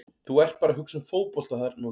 Þú ert bara að hugsa um fótbolta þarna úti.